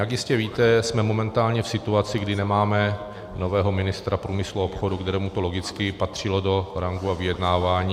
Jak jistě víte, jsme momentálně v situaci, kdy nemáme nového ministra průmyslu a obchodu, kterému to logicky patřilo do ranku a vyjednávání.